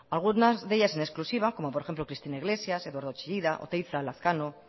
algunas de ellas en exclusiva como por ejemplo cristina iglesias eduardo chillida oteiza lazkano